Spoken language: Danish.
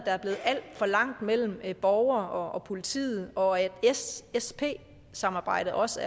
er blevet alt for langt mellem borgere og politiet og at ssp samarbejdet også